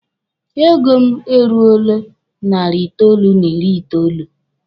Ego mụ e ruole narị itoolu n'ịrị itoolu.